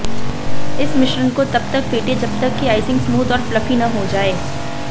इस मिश्रण को तबतक फेंटे जबतक कि आइसिंग स्मूद और फ्लफी न हो जाए